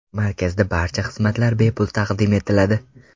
Markazda barcha xizmatlar bepul taqdim etiladi.